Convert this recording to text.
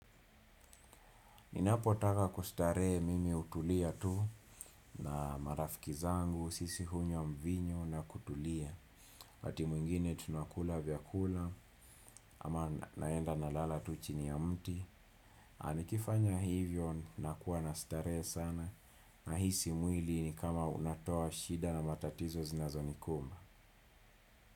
Ninapotaka kustarehe mimi hutulia tu na marafiki zangu, sisi hunywa mvinyo na kutulia. Wakati mwingine tunakula vyakula ama naenda nalala tu chini ya mti. Na nikifanya hivyo nakuwa na starehe sana nahisi mwili ni kama unatoa shida na matatizo zinazonikumba.